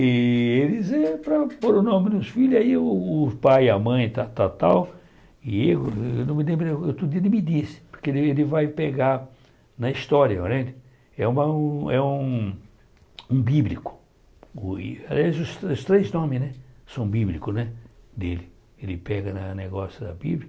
E eles, eh para pôr o nome dos filhos, aí o pai, a mãe, tal, tal, tal, e eu não me lembro, outro dia ele me disse, porque ele vai pegar na história, né é uma é um é um bíblico, aliás, os três nomes, né, são bíblicos, né, dele, ele pega na negócio da bíblia,